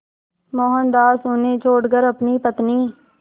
मोहनदास उन्हें छोड़कर अपनी पत्नी